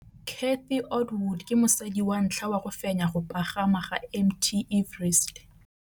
Cathy Odowd ke mosadi wa ntlha wa go fenya go pagama ga Mt Everest.